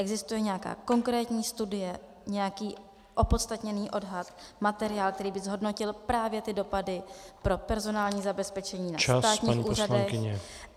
Existuje nějaká konkrétní studie, nějaký opodstatněný odhad, materiál, který by zhodnotil právě ty dopady pro personální zabezpečení na státních úřadech?